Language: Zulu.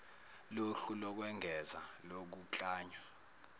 lohlu lokwengeza lokuklanywa